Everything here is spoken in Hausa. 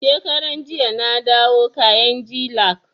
Shekaran jiya na dawo kainji lake